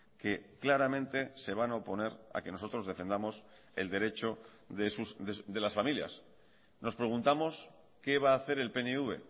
que claramente se van a oponer a que nosotros defendamos el derecho de las familias nos preguntamos qué va a hacer el pnv